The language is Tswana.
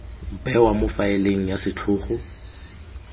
bewa mo faeleng ya setlhogo